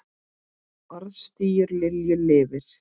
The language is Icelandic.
Orðstír Lilju lifir.